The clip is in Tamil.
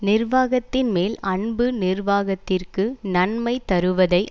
நிர்வாகத்தின்மேல் அன்பு நிர்வாகத்திற்கு நன்மை தருவதை